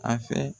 A fɛ